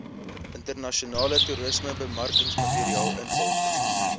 internasionale toerismebemarkingsmateriaal invul